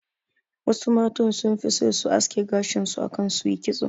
Wasu matan sun fi so su aske gashin su akan su yi kitso